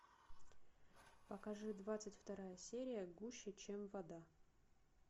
покажи двадцать вторая серия гуще чем вода